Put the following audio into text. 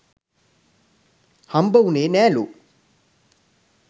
හම්බ උනේ නෑලූ.